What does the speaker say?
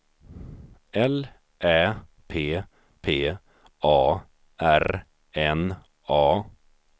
L Ä P P A R N A